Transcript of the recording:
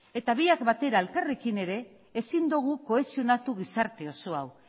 eta biak batera elkarrekin ere ezin dugu kohesionatu gizarte oso hau